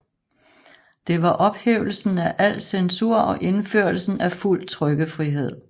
Det var ophævelsen af al censur og indførelsen af fuld trykkefrihed